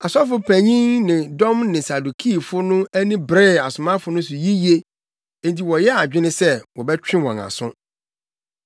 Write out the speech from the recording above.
Ɔsɔfopanyin ne ne dɔm ne Sadukifo no ani beree asomafo no so yiye enti wɔyɛɛ adwene sɛ wɔbɛtwe wɔn aso.